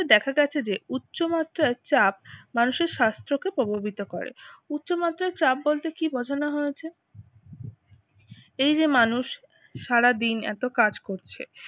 দেখা গেছে যে উচ্চমাত্রার চাপ মানুষের স্বাস্থ্যকে প্রভাবিত করে। উচ্চমাত্রার চাপ বলতে কি বোঝানো হয়েছে? এই যে মানুষ সারাদিন এত কাজ করছে